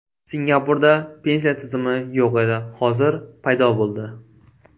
Singapurda pensiya tizimi yo‘q edi, hozir paydo bo‘ldi.